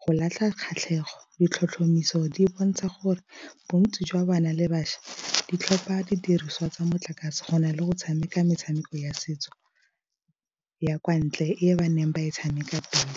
go latlha kgatlhego ditlhotlhomiso di bontsha gore bontsi jwa bana le bašwa di tlhopha didiriswa tsa motlakase go na le go tshameka metshameko ya setso ya kwa ntle e ba neng ba e tshameka pele.